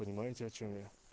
понимаете о чём я